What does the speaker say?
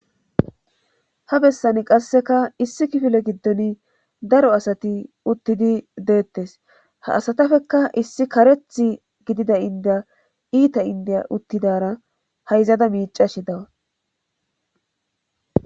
ha bessan qasseka issi kifile giddon daro asati uttidi deettes ha asatafekka issi kareth gidida indiya iita indiya uttidara hayzada miicashe dawaus